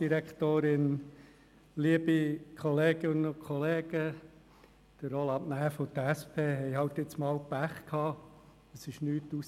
Roland Näf und die SP hatten jetzt einmal Pech, denn es kam nichts heraus.